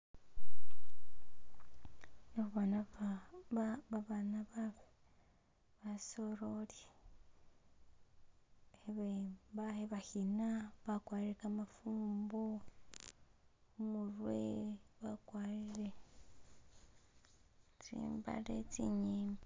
Babana basoreli khabakhina bakwarire kamafumbo khumurwe bakwarile tsimbale tsinyimbi